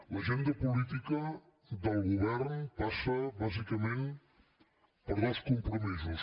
l’agenda política del govern passa bàsicament per dos compromisos